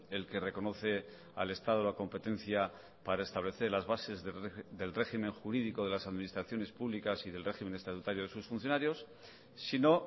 el que reconoce al estado la competencia para establecer las bases del régimen jurídico de las administraciones públicas y del régimen estatutario de sus funcionarios sino